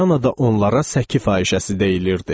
Vyanada onlara səki fahişəsi deyilirdi.